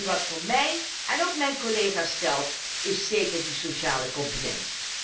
Wat voor mij en ook mijn collega's telt is zeker de sociale component.